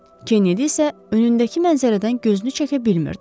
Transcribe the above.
Kennedy isə önündəki mənzərədən gözünü çəkə bilmirdi.